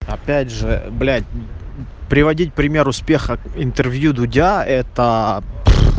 опять же блять приводить пример успеха в интервью дудя это